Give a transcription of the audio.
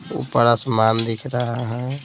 ऊपर आसमान दिख रहा है।